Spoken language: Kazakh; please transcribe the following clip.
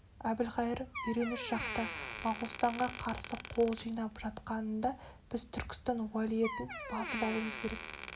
әбілқайыр үргеніш жақта моғолстанға қарсы қол жинап жатқанында біз түркістан уәлиетін басып алуымыз керек